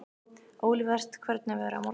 Olivert, hvernig er veðrið á morgun?